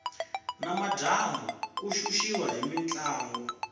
ni madyambu ku xuxiwa hi mintlangu